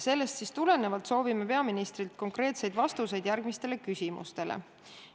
Sellest tulenevalt soovime peaministrilt konkreetseid vastuseid järgmistele küsimustele.